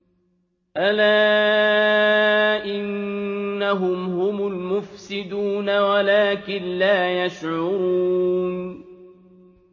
أَلَا إِنَّهُمْ هُمُ الْمُفْسِدُونَ وَلَٰكِن لَّا يَشْعُرُونَ